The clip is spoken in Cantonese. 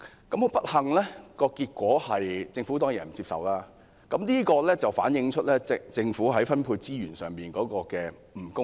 很不幸，政府當然不接受這項建議，反映政府在分配資源上的不公義。